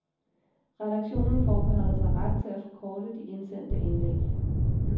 Redaktionen forbeholder sig ret til at forkorte de indsendte indlæg.